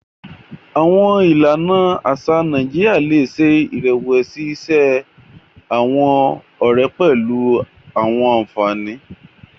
Awọn ìlànà aṣa Nàìjíríà le ṣe irẹwẹsi iṣe awọn ọrẹ pẹlu awọn ànfàní.